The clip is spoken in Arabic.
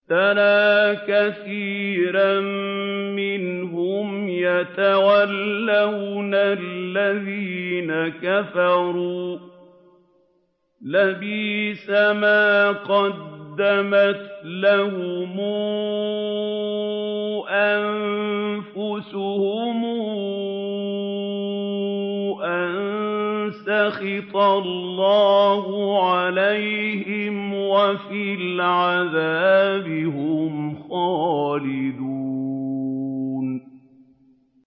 تَرَىٰ كَثِيرًا مِّنْهُمْ يَتَوَلَّوْنَ الَّذِينَ كَفَرُوا ۚ لَبِئْسَ مَا قَدَّمَتْ لَهُمْ أَنفُسُهُمْ أَن سَخِطَ اللَّهُ عَلَيْهِمْ وَفِي الْعَذَابِ هُمْ خَالِدُونَ